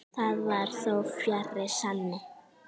Það var þó fjarri sanni.